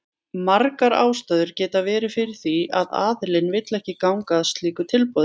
Margar ástæður geta verið fyrir því að aðilinn vill ekki ganga að slíku tilboði.